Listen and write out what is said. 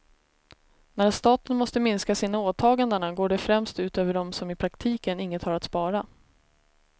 När staten måste minska sina åtaganden går det främst ut över dem som i praktiken inget har att spara.